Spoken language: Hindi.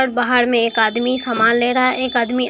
और बाहर में एक आदमी सामान ले रहा है एक आदमी--